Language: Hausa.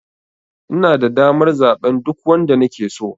Inada damar zaɓen duk wanda nake so.